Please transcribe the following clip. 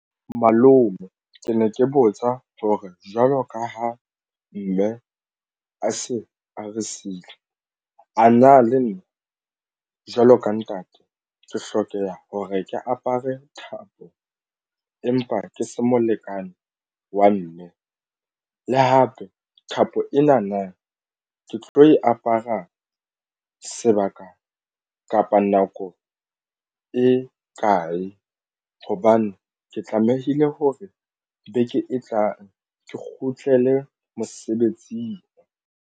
Malome ke ne ke botsa hore jwalo ka ha mme a se a re siile a na le nna jwalo ka ntate ke hlokeha ho re ke apare thapo empa ke se molekane wa mme le hape thapo ena. Na ke tlo e apara sebaka kapa phapang nako e kae hobane ke tlamehile hore beke e tlang ke kgutlele mosebetsing?